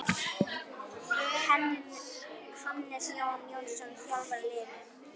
Hannes Jón Jónsson þjálfar liðið.